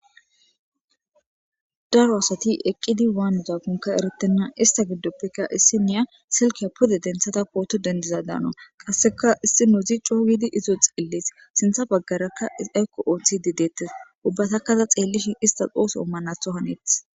daro asati eqqidi waanuzakonka eretenna ista giddoppekka issi niya silkeya puda denthata pooto dendiza daano qasseka issi nuuzi coowdi izoo xeellis sintha baggarakka iaykko oothi di dettes ubbatakkada xeellishin ista ooso ommanatho haneeth